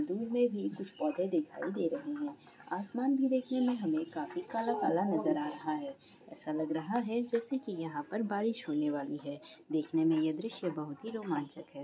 दूर में भी कुछ पौधे दिखाई दे रहे है आसमान भी देखने में हमे काफी काला-काला नज़र आ रहा है ऐसा लग रहा है जैसे कि यहाँ पर बारिश होने वाली है देखने में यह दृश्य बहुत ही रोमांचक है।